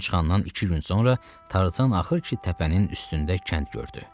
Gün çıxandan iki gün sonra Tarzan axır ki, təpənin üstündə kənd gördü.